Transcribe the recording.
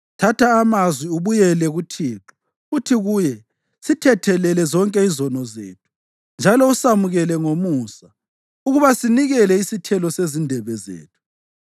Thatha amazwi ubuyele kuThixo. Uthi kuye, “Sithethelele zonke izono zethu njalo usamukele ngomusa ukuba sinikele isithelo sezindebe zethu.